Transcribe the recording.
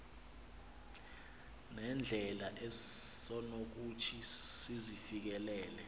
nendlela esonokuthi sizifikelele